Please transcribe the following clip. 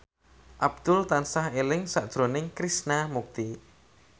Abdul tansah eling sakjroning Krishna Mukti